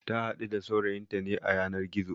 Ta haɗu da saurayinta ne a yanar gizo